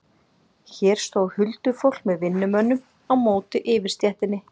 Hér stóð huldufólk með vinnumönnum á móti yfirstéttinni.